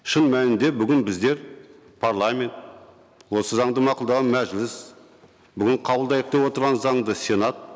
шын мәнінде бүгін біздер парламент осы заңды мақұлдаған мәжіліс бүгін қабылдайық деп отырған заңды сенат